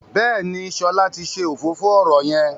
Béèni Shola tí ṣe òfófó ọrọ yén.